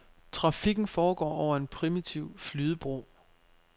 Trafikken foregår over en primitiv flydebro.